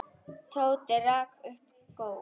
Tóti rak upp gól.